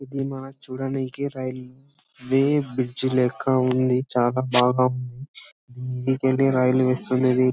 ఇది మా చుడండి రైల్ బె-బ్రిడ్జి లెక్క ఉంది చాలా బాగా వేస్తున్నది .